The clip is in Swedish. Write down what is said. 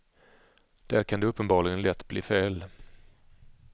Där kan det uppenbarligen lätt bli fel.